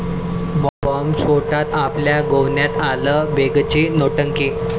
बॉम्बस्फोटात आपल्या गोवण्यात आलं, बेगची नौटंकी